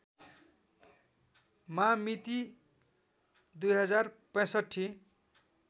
मा मिति २०६५